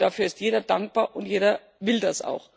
Ich glaube, dafür ist jeder dankbar, und jeder will das auch.